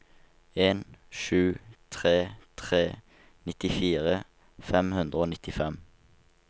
en sju tre tre nittifire fem hundre og nittifem